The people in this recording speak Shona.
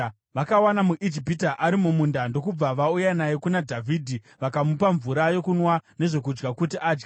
Vakawana muIjipita ari mumunda ndokubva vauya naye kuna Dhavhidhi. Vakamupa mvura yokunwa nezvokudya kuti adye,